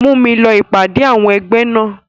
Mú mi lọ ìpàdé àwọn ẹgbẹ́ náà.